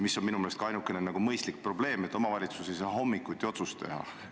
Minu meelest on ainukene mõistlik probleem see, et omavalitsus ei saa hommikuse aja kohta otsust teha.